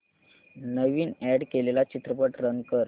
नवीन add केलेला चित्रपट run कर